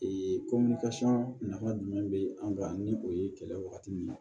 Ee nafa jumɛn be an kan ni o ye kɛlɛ wagati min na